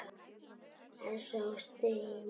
Elsa og Steina.